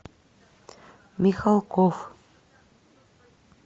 михалков